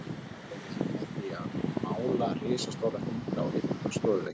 Það gerði hann með því að mála risastóra mynd á einn stofuvegginn.